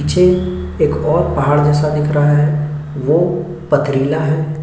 पीछे और एक पहाड़ जैसा दिख रहा है वो पथरीला है।